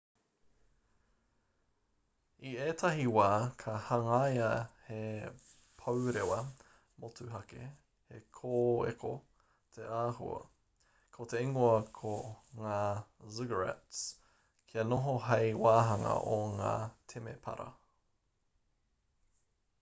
i ētahi wā ka hangaia he pourewa motuhake he kōeko te āhua ko te ingoa ko ngā ziggurats kia noho hei wāhanga o ngā temepara